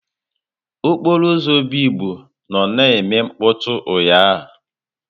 Okporo ụzọ Obigbo nnọ na-eme mkpọtụ ụnyahụ.